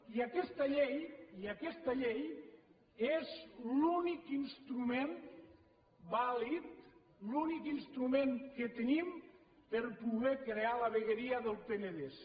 i aquesta llei aquesta llei és l’únic instrument vàlid l’únic instrument que tenim per poder crear la vegueria del penedès